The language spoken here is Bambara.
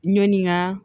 Ɲɔni ka